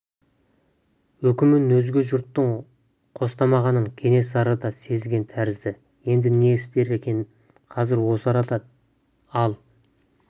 үкімін өзге жұрттың қостамағанын кенесары да сезген тәрізді енді не істер екен қазір осы арада ал